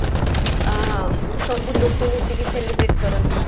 ଆଁ ସବୁ ଲୋକ ମିଶିକି celebrate କରନ୍ତି